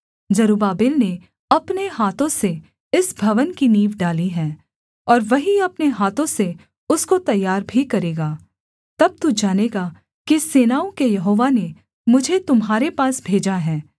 जरुब्बाबेल ने अपने हाथों से इस भवन की नींव डाली है और वही अपने हाथों से उसको तैयार भी करेगा तब तू जानेगा कि सेनाओं के यहोवा ने मुझे तुम्हारे पास भेजा है